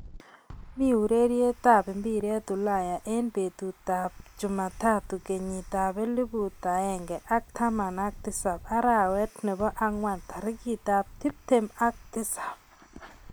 Mi urereyet ap mpiret Ulaya eng betut ab cheemataatu kenyit ab elput aeng ak taman ak tisat arawet nebo angwan tarikit ab tiptem ak tisab